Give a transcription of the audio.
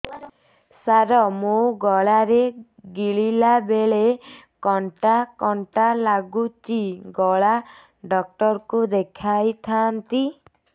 ସାର ମୋ ଗଳା ରେ ଗିଳିଲା ବେଲେ କଣ୍ଟା କଣ୍ଟା ଲାଗୁଛି ଗଳା ଡକ୍ଟର କୁ ଦେଖାଇ ଥାନ୍ତି